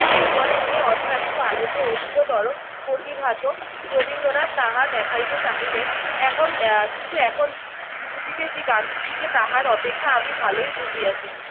জীবনের যে অধ্যাত্ম আলোকে অধিকতর প্রতিভাত রবীন্দ্রনাথ তাহা দেখাইতে চাহিলেন। এখন আহ কিন্তু এখন বুঝিতেছি গান্ধীজিকে তাহার অপেক্ষা আমি ভালোই বুঝিয়াছি।